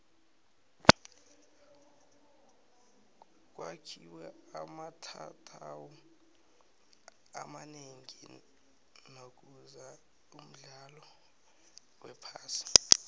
kwakhiwe amatatawu amanengi nakuza umdlalo wephasi